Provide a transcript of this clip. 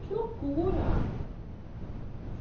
Que loucura!